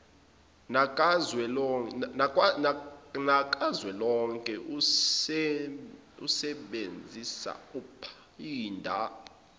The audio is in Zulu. nakazwelonke useebnzisa uphinda